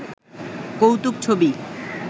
কৌতুক ছবি